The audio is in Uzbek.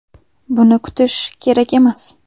Buni kutish kerak emas.